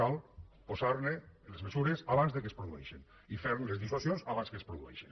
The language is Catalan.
cal posar les mesures abans que es produeixi i fer les dissuasions abans que es produeixin